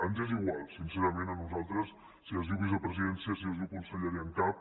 ens és igual sincerament a nosaltres si es diu vicepresidència si es diu conselleria en cap